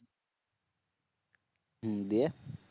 হম দিয়ে